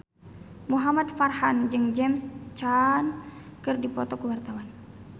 Muhamad Farhan jeung James Caan keur dipoto ku wartawan